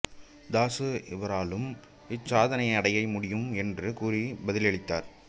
தாசு இவராலும் இச்சாதனையை அடைய முடியும் என்று கூறி பதிலளித்தார்